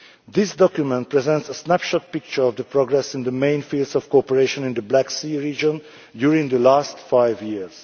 This document presents a snapshot of the progress in the main fields of cooperation in the Black Sea region during the last five years.